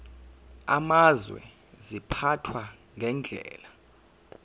amazwe ziphathwa ngendlela